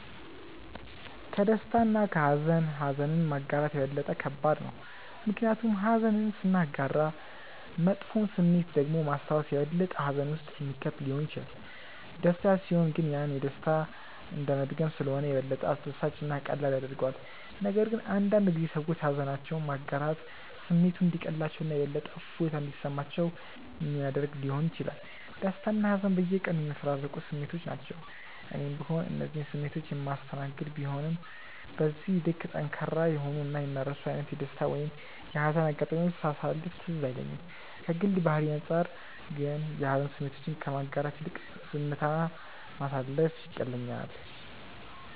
ከደስታ እና ከሃዘን ኀዘንን ማጋራት የበለጠ ከባድ ነው። ምክንያቱም ኀዘንን ስናጋራ መጥፎውን ስሜት ደግሞ ማስታወስ የበለጠ ሀዘን ውስጥ የሚከት ሊሆን ይችላል። ደስታ ሲሆን ግን ያንን ደስታ እንደመድገም ስለሆነ የበለጠ አስደሳች እና ቀላል ያደርገዋል፤ ነገር ግን አንዳንድ ጊዜ ሰዎች ሃዘናቸውን ማጋራት ስሜቱ እንዲቀልላቸው እና የበለጠ እፎይታ እንዲሰማቸው ሚያደረግ ሊሆን ይችላል። ደስታና ሀዘን በየቀኑ የሚፈራረቁ ስሜቶች ናቸው። እኔም ብሆን እነዚህን ስሜቶች የማስተናገድ ቢሆንም በዚህ ልክ ጠንካራ የሆኑ እና የማይረሱ አይነት የደስታ ወይም የሀዘን አጋጣሚዎችን ሳሳለፍ ትዝ አይለኝም። ከግል ባህሪዬ አንጻር ግን የሀዘን ስሜቶችን ከማጋራት ይልቅ ዝምታ ማሳለፍ ይቀለኛል።